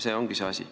See ongi see asi.